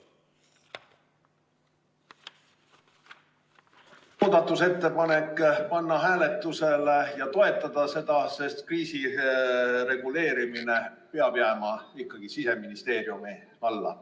Palun muudatusettepanek panna hääletusele ja toetada seda, sest kriisireguleerimine peab jääma ikkagi Siseministeeriumi alla.